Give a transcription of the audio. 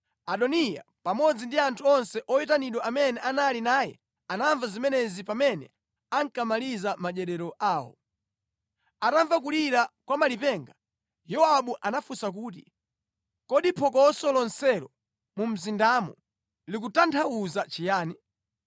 Adoniya pamodzi ndi anthu onse oyitanidwa amene anali naye anamva zimenezi pamene ankamaliza madyerero awo. Atamva kulira kwa malipenga, Yowabu anafunsa kuti, “Kodi phokoso lonselo mu mzindamo likutanthauza chiyani?”